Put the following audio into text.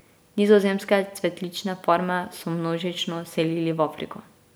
Nizozemske cvetlične farme so množično selili v Afriko.